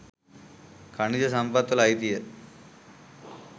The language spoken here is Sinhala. ඛනිජ සම්පත්වල අයිතිය